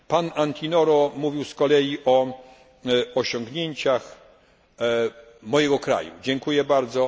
się. Pan Antinoro mówił z kolei o osiągnięciach mojego kraju, dziękuję bardzo.